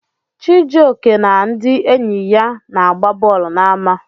Chijioke na ndị enyi ya na-agba bọọlụ n'ama.